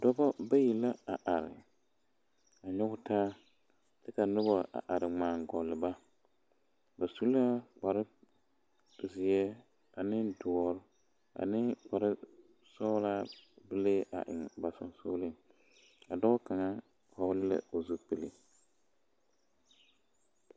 dɔbɔ bayi la a are a nyɔgetaa kyɛ ka noba a ŋmaa gɔɔle ba, ba su la kparezeɛ ane dɔɔre ane kparesɔgelaabelee a eŋ ba sonsoleŋ a dɔɔ kaŋa vɔle la o zupile